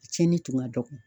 Tiɲɛni tun ka dɔgɔ.